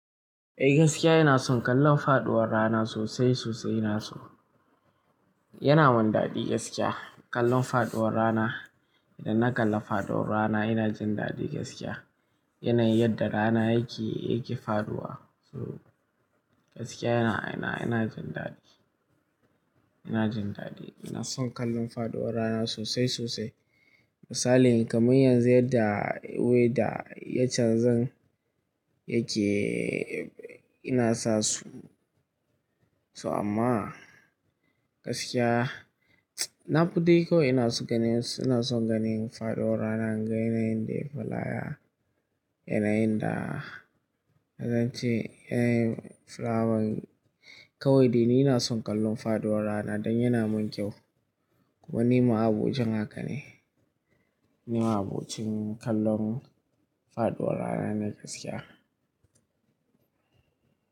Eh gaskiya ina son kallon faɗuwar rana sosai sosai ina so. Yana mun daɗi gaskiya kallon faɗuwar rana. Idan na kalla faɗuwar rana ina jin daɗi gaskiya. Yanayin da rana yake, yake faɗuwa. To gaskiya ina, ina jin daɗi. Ina jin daɗi, ina son kallon faɗuwar rana sosai sosai. Misali kamar yanzu yadda weather yachanzun yake ina sa su. So amma gaskiya na fadai kaiwai ina son ganin, ina son ganin faɗuwar rana, inga yayin da yafi lafiya, yanayin da na zance yanayin filawan. Kawai dai ni ina son kallon faɗuwar rana dan yina mun kyau. Kuma nima abokin haka ne. Nima abocin kallon faɗuwar rana ne gaskiya.